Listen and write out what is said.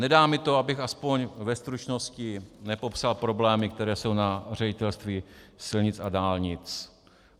Nedá mi to, abych aspoň ve stručnosti nepopsal problémy, které jsou na Ředitelství silnic a dálnic.